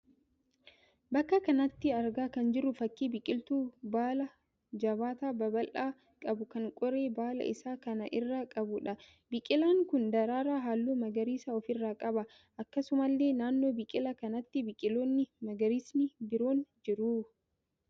Bakka kanatti argaa kan jirru fakkii biqiltuu baala jabaataa babal'aa qabu kan qoree baala isaa kana irraa qabuudha. Biqilaan kun daraaraa halluu magariisa ofi irraa qaba. Akkasumallee naannoo biqilaa kanaatti biqiloonni magariisni biroon jiru.